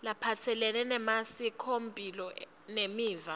laphatselene nemasikomphilo nemiva